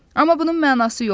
Amma bunun mənası yoxdur.